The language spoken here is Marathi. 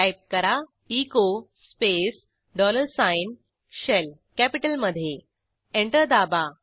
टाईप करा echo space dollar sign shell कॅपिटलमधे एंटर दाबा